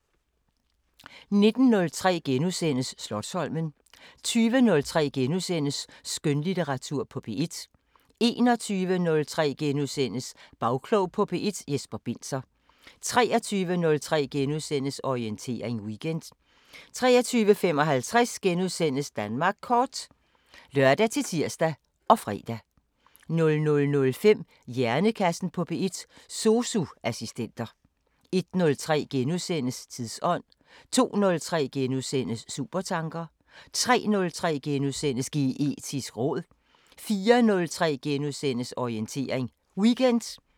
19:03: Slotsholmen * 20:03: Skønlitteratur på P1 * 21:03: Bagklog på P1: Jesper Binzer * 23:03: Orientering Weekend * 23:55: Danmark Kort *(lør-tir og fre) 00:05: Hjernekassen på P1: SOSU assistenter 01:03: Tidsånd * 02:03: Supertanker * 03:03: Geetisk råd * 04:03: Orientering Weekend *